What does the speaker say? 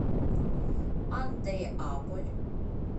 андреаполь